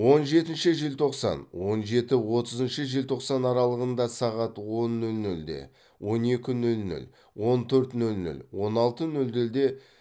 он жетінші желтоқсан он жеті отызыншы желтоқсан аралығында сағат он нөл нөлде он екі нөл нөл он төрт нөл нөл он алты нөл нөлде